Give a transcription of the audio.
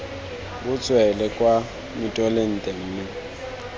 bo tswele kwa mitolente mme